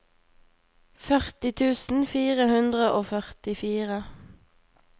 førti tusen fire hundre og førtifire